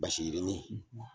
Basi yirinin